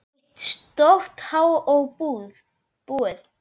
Eitt stórt há og búið.